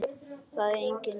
Það er engin önnur lausn.